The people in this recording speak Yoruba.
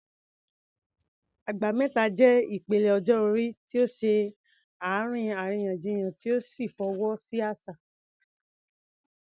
Agba Meta" jẹ́ ìpele ọjọ́ orí tí ó ṣe àárín àríyànjiyàn tí ó sì fọwọ́ sí àṣà.